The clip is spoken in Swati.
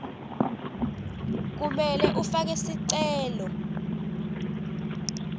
kumele ufake sicelo